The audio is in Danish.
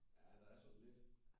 Ja der er sådan lidt